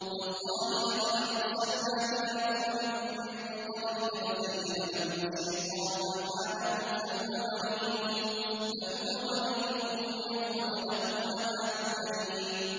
تَاللَّهِ لَقَدْ أَرْسَلْنَا إِلَىٰ أُمَمٍ مِّن قَبْلِكَ فَزَيَّنَ لَهُمُ الشَّيْطَانُ أَعْمَالَهُمْ فَهُوَ وَلِيُّهُمُ الْيَوْمَ وَلَهُمْ عَذَابٌ أَلِيمٌ